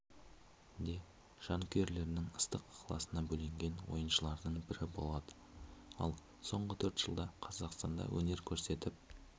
де жанкүйерлердің ыстық ықыласына бөленген ойыншылардың бірі болды ал соңғы төрт жылда қазақстанда өнер көрсетіп